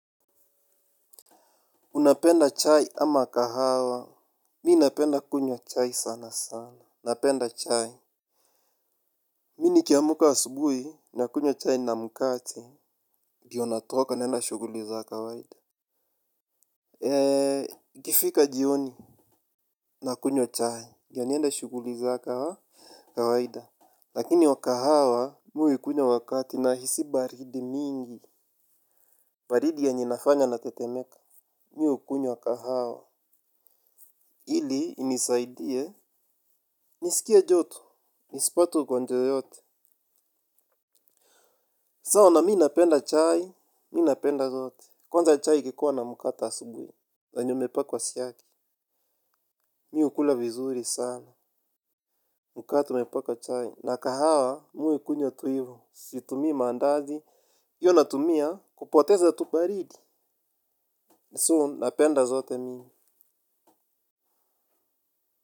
Unapenda chai ama kahawa, mi napenda kunywa chai sana sana. Napenda chai. Mi nikiamuka asubui, nakunywa chai na mkate. Ndio natoka, naenda shuguli za kawaida. Ikifika jioni, nakunywa chai. Ndio niende shuguli za kawaida. Lakini wa kahawa, mi huikunywa wakati nahisi baridi mingi. Baridi yenye inafanya natetemeka, mi hukunywa kahawa. Ili, inisaidie, nisikie joto. Nisipate ugonjwa yoote. Sawa na mi napenda chai, mi napenda zote. Kwanza chai ikikuwa na mkate asubui. Zenye imepakwa siagi. Mi hukula vizuri sana. Mkate unaipaka chai. Na kahawa mi huikunywa tu ivo. Situmii maandazi. Hio natumia. Kupoteza tu baridi. So napenda zote mi.